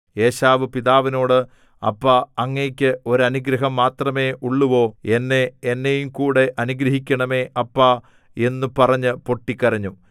ഏശാവ് പിതാവിനോട് അപ്പാ അങ്ങയ്ക്ക് ഒരു അനുഗ്രഹം മാത്രമേ ഉള്ളുവോ എന്നെ എന്നെയുംകൂടെ അനുഗ്രഹിക്കേണമേ അപ്പാ എന്നു പറഞ്ഞ് പൊട്ടിക്കരഞ്ഞു